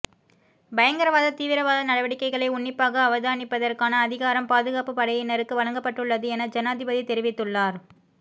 பயங்கரவாத தீவிரவாத நடவடிக்கைகளை உன்னிப்பாக அவதானிப்பதற்கான அதிகாரம் பாதுகாப்பு படையினருக்கு வழங்கப்பட்டுள்ளது என ஜனாதிபதி தெரிவித்துள்ளார்